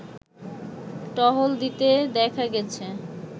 টহল দিতে দেখা গেছে